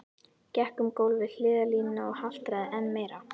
Gekk um gólf við hliðarlínuna og haltraði enn meira.